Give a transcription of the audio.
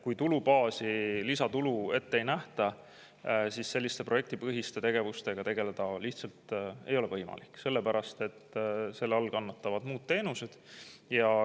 Kui tulubaasi lisatulu ette ei nähta, siis selliste projektipõhiste tegevustega tegeleda lihtsalt ei ole võimalik, sellepärast et selle all kannatavad muud teenused.